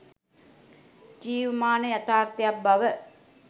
ජීවමාන යථාර්ථයක් බව